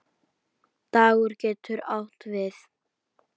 Dagur getur átt við